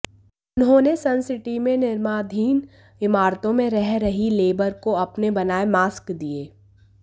उन्होंने सनसिटी में निर्माणाधीन इमारतों में रह रही लेबर को अपने बनाए मास्क दिए